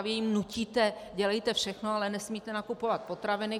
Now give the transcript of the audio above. A vy jim nutíte: Dělejte všechno, ale nesmíte nakupovat potraviny.